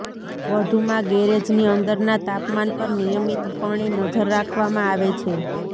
વધુમાં ગેરેજની અંદરના તાપમાન પર નિયમિત પણે નજર રાખવામાં આવે છે